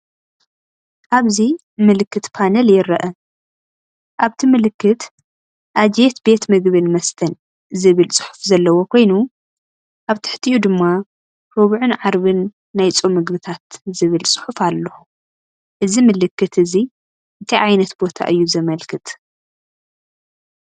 ኣብዚ ምልክት ፓነል ይርአ። ኣብቲ ምልክት "አጅየት ቤት ምግብን መስተን" ዝብል ጽሑፍ ዘለዎ ኮይኑ፡ ኣብ ትሕቲኡ ድማ "ሮብዕን ዓርብን ናይ ፆም ምግብታት" ዝብል ጽሑፍ ኣሎ። እዚ ምልክት እዚ እንታይ ዓይነት ቦታ እዩ ዘመልከት?